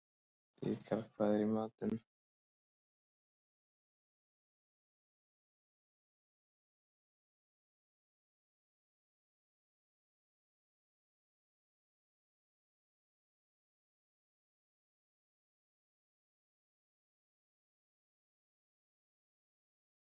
Stundum er eins og ég eigi ekkert sem hentar.